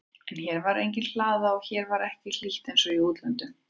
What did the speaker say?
En hér var engin hlaða og hér var ekki hlýtt einsog í útlöndum.